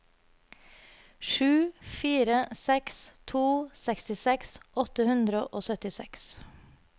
sju fire seks to sekstiseks åtte hundre og syttiseks